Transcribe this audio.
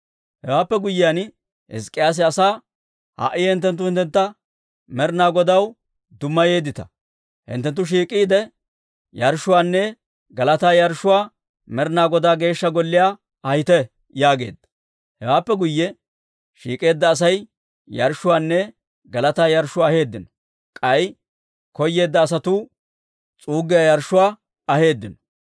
Hewaappe guyyiyaan, Hizk'k'iyaase asaa, «Ha"i hinttenttu hinttentta Med'inaa Godaw dummayeeddita. Hinttenttu shiik'iide, yarshshuwaanne galataa yarshshuwaa Med'inaa Godaa Geeshsha Golliyaa ahite» yaageedda. Hewaappe guyye shiik'eedda Asay yarshshuwaanne galataa yarshshuwaa aheeddino; k'ay koyeedda asatuu s'uuggiyaa yarshshuwaa aheeddino.